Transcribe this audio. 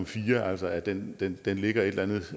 fire altså at den den ligger et eller andet